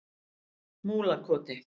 Múlakoti